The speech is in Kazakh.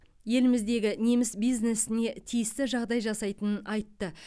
еліміздегі неміс бизнесіне тиісті жағдай жасайтынын айтты